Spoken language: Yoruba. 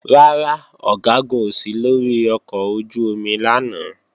Rárá, Ọ̀gágun ò sí lórí ọkọ̀ ojú-omi lánàá